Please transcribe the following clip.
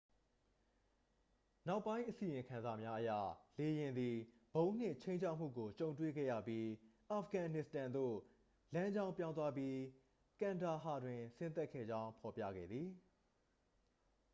နောက်ပိုင်းအစီရင်ခံစာများအရ လေယာဉ်သည် ဗုံးနှင့် ခြိမ်းခြောက်မှုကို ကြုံတွေ့ခဲ့ရပြီး အာဖဂန်နစ္စတန်သို့ လမ်းကြောင်းပြောင်းသွားပြီး ကန်ဒါဟာတွင် ဆင်းသက်ခဲ့ကြောင်း ဖော်ပြခဲ့သည်